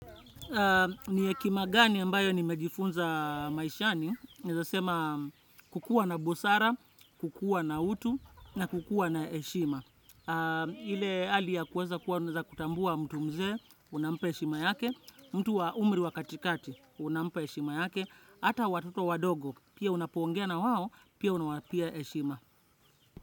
Ni hekima gani ambayo nimejifunza maishani, naeza sema kukuwa na busara, kukuwa na utu, na kukuwa na heshima. Ile hali ya kuweza kutambua mtu mzee, unampa heshima yake, mtu wa umri wa katikati, unampa heshima yake, ata watoto wadogo, pia unapongea na wao, pia unawapea heshima.